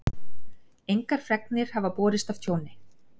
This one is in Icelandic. Engar fregnir hafa borist af tjóni